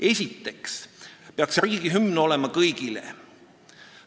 Esiteks peaks riigihümn olema kõigile.